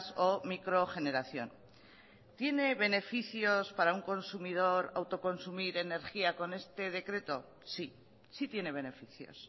o microgeneración tiene beneficios para un consumidor autoconsumir energía con este decreto sí sí tiene beneficios